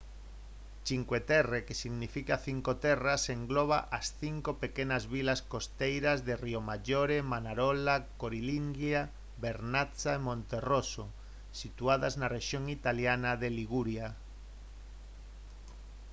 cinque terre que significa cinco terras engloba as cinco pequenas vilas costeiras de riomaggiore manarola corniglia vernazza e monterosso situadas na rexión italiana de liguria